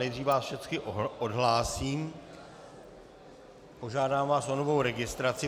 Nejdříve vás všechny odhlásím, požádám vás o novou registraci.